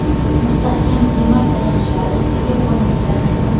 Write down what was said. mustahkam temir tayanchlari ustiga o‘rnatiladi.